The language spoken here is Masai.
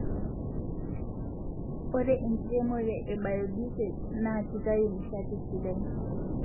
ore enkiremore e biodisel ni kitayu nishati sidai